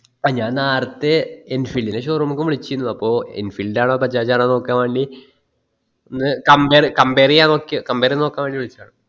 ആ ഞാൻ നേറത്തെ enfield ൻ്റെ showroom ക്കും വിളിച്ചിരിന്നു അപ്പൊ enfield ആണോ bajaj ആണോ നോക്കാൻ വേണ്ടി ഒന്ന് compare compare ചെയ്യാൻ നോക്കിയ compare ചെയ്യത് നോക്കാൻ വേണ്ടി വിളിച്ചയാ